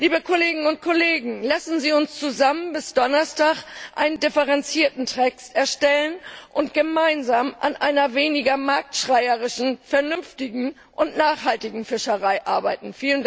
Liebe Kolleginnen und Kollegen, lassen Sie uns zusammen bis Donnerstag einen differenzierten Text erstellen und gemeinsam an einer weniger marktschreierischen, vernünftigen und nachhaltigen Fischerei arbeiten!